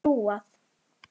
Mér verður trúað.